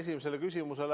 Saite küll!